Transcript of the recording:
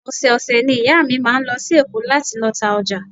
Ọ̀sẹ̀ ọ̀sẹ̀ ni ìyá mi máa ń lọ sí Èkó láti lọ ta ọjà